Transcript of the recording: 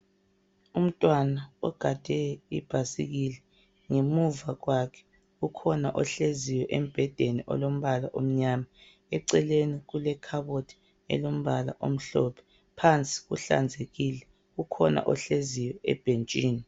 Umntwana ogade ibhasikili ngemuva kwakhe ukhona ohleziyo embhedeni olombala omnyama eceleni kulekhabothi elombala omhlophe. Phansi kuhlanzekile ukhona ohleziyo ebhentshini.